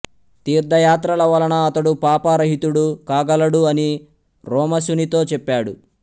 తీర్ధయాత్రల వలన అతడు పాప రహితుడు కాగలడు అని రోమశునితో చెప్పాడు